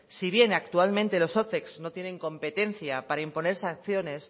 si bien actualmente los ocex no tienen competencia para imponer sanciones